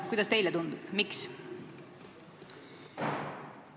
Kuidas teile tundub, miks?